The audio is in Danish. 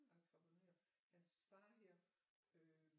Entreprenør hans far hedder øh